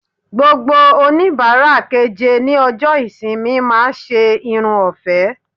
Gbogbo onibara keje ni ọjọ ìsinmi ma se Irun ofe